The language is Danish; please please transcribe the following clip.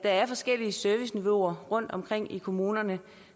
er forskellige serviceniveauer rundtomkring i kommunerne